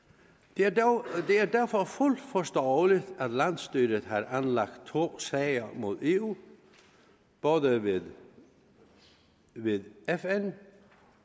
det er derfor fuldt forståeligt at landsstyret har anlagt to sager mod eu både ved ved fn